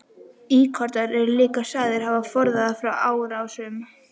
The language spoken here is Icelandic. Íkonar eru líka sagðir hafa forðað frá árásum.